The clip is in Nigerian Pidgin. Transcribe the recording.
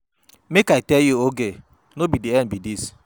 Make I tell you Oge, no be the end be dis.